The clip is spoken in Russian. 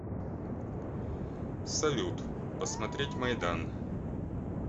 салют посмотреть майдан